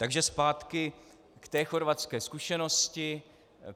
Takže zpátky k té chorvatské zkušenosti.